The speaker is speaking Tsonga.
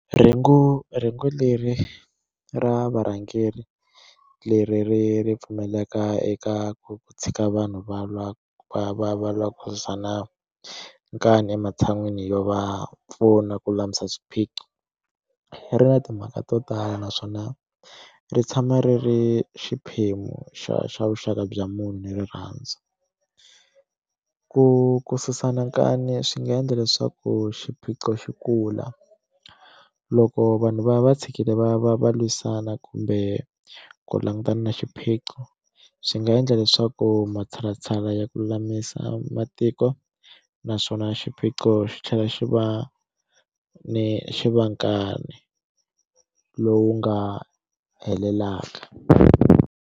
Rhengu rhengu leri ra varhangeri leri ri ri pfumeleka eka ku tshika vanhu va lwa va va va lava ku susana nkani ematshan'wini yo va pfuna ku lulamisa swiphiqo ri na timhaka to tala naswona ri tshama ri ri xiphemu xa xa vuxaka bya munhu ni rirhandzu ku ku susana nkani swi nga endla leswaku xiphiqo xi kula loko vanhu va va tshikile va va va lwisana kumbe ku langutana na xiphiqo swi nga endla leswaku matshalatshala ya ku lulamisa matiko naswona xiphiqo xi tlhela xi va ni xi va nkani lowu nga helelaka.